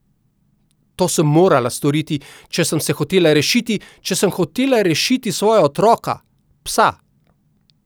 To sem morala storiti, če sem se hotela rešiti, če sem hotela rešiti svoja otroka, psa.